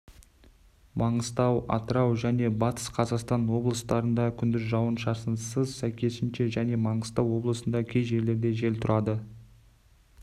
маңғыстау атырау және батыс қазақстан облыстарында күндіз жауын-шашынсыз сәйкесінше және маңғыстау облысында кей жерлерде жел тұұрады